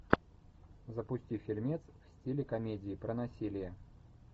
запусти фильмец в стиле комедии про насилие